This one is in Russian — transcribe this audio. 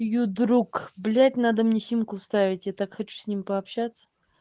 её друг блядь надо мне симку вставить я так хочу с ним пообщаться